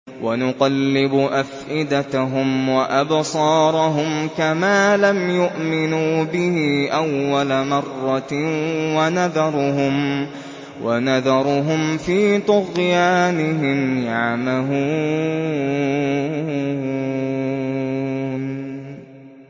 وَنُقَلِّبُ أَفْئِدَتَهُمْ وَأَبْصَارَهُمْ كَمَا لَمْ يُؤْمِنُوا بِهِ أَوَّلَ مَرَّةٍ وَنَذَرُهُمْ فِي طُغْيَانِهِمْ يَعْمَهُونَ